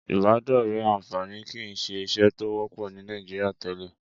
Ìbádọ́rẹ̀ẹ́ àǹfààní kìí ṣe ìṣe tó wọ́pọ̀ ní Nàìjíríà tẹ́lẹ̀.